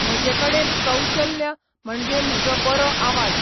म्हजें कडेन कौशल्य म्हणजे म्हजो बरो आवाज.